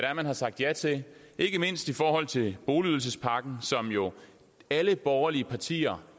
er man har sagt ja til ikke mindst i forhold til boligydelsespakken som alle borgerlige partier